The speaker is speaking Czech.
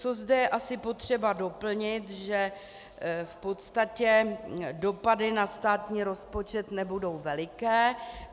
Co zde je asi potřeba doplnit, že v podstatě dopady na státní rozpočet nebudou veliké.